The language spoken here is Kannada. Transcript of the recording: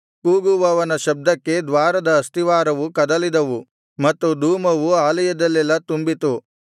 ಕೂಗುವವನ ಶಬ್ದಕ್ಕೆ ದ್ವಾರದ ಅಸ್ತಿವಾರವು ಕದಲಿದವು ಮತ್ತು ಧೂಮವು ಆಲಯದಲ್ಲೆಲ್ಲಾ ತುಂಬಿತು